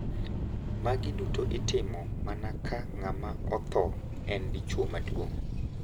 Magi duto itimo mana ka ng`ama otho en dichwo maduong`.